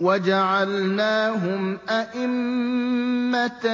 وَجَعَلْنَاهُمْ أَئِمَّةً